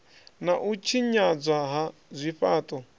na u tshinyadzwa ha zwifhaṱo